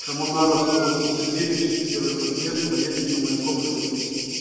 коммунаров сто восемьдесят девять первый подъезд поеду на маяковского десять